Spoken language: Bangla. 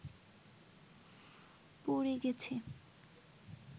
প’ড়ে গেছে